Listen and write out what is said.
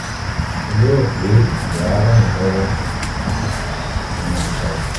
mo lérò pé èyí á ràn yín lọ́wọ́ ẹ máa ṣọ́ra